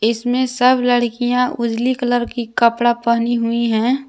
इस मे सब लड़कियां उजली कलर की कपडा पहनी हुई है।